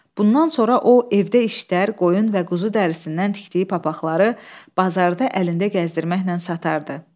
Bundan sonra o evdə işlər, qoyun və quzu dərisindən tikdiyi papaqları bazarda əlində gəzdirməklə satardı.